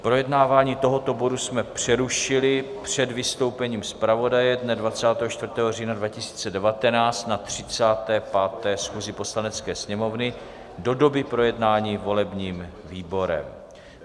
Projednávání tohoto bodu jsme přerušili před vystoupením zpravodaje dne 24. října 2019 na 35. schůzi Poslanecké sněmovny do doby projednání volebním výborem.